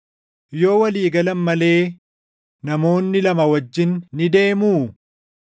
Yoo walii galan malee namoonni lama wajjin ni deemuu?